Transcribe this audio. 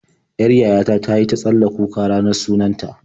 Yar yaya ta ta yi ta tsalla kuka ranar sunan ta.